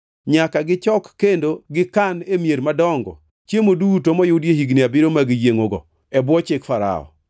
Nyaka gichok kendo gikan e mier madongo chiemo duto moyudi e higni abiriyo mag yiengʼogo e bwo chik Farao.